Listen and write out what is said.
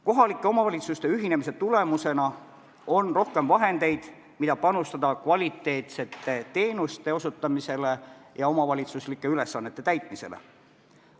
Kohalike omavalitsuste ühinemise tulemusena on rohkem vahendeid, mida eraldada kvaliteetsete teenuste osutamiseks ja omavalitsuslike ülesannete täitmiseks.